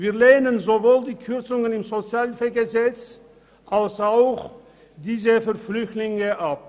Wir lehnen sowohl die Kürzungen im SHG als auch jene betreffend Flüchtlinge ab.